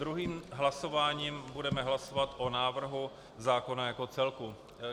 Druhým hlasováním budeme hlasovat o návrhu zákona jako celku.